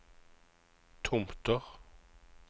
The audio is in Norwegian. Tomter